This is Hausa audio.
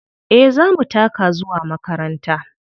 Eh za mu taka zuwa makaranta.